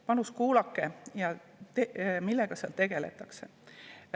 Palun kuulake, millega seal tegeletakse!